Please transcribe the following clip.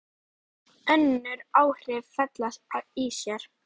Önnur áhrif fela í sér